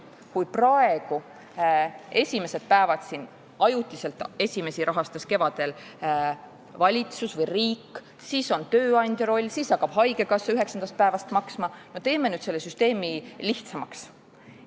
Kevadel rahastas esimesi päevi ajutiselt valitsus või riik, siis tuleb tööandja roll, üheksandast päevast hakkab maksma haigekassa – teeme selle süsteemi nüüd lihtsamaks.